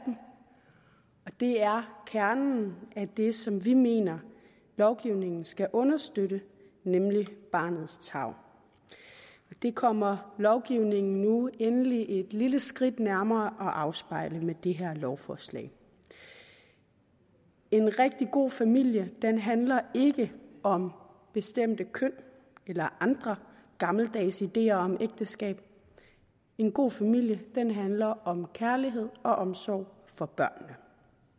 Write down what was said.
det er kernen i det som vi mener lovgivningen skal understøtte nemlig barnets tarv det kommer lovgivningen nu endelig et lille skridt nærmere at afspejle med det her lovforslag en rigtig god familie handler ikke om bestemte køn eller andre gammeldags ideer om ægteskab en god familie handler om kærlighed og omsorg for børnene